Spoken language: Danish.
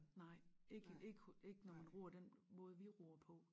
Nej ik i ik hos ikke når man ror den måde vi ror på